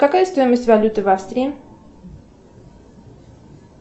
какая стоимость валюты в австрии